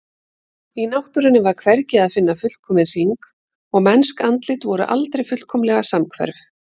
Í náttúrunni var hvergi að finna fullkominn hring og mennsk andlit voru aldrei fullkomlega samhverf.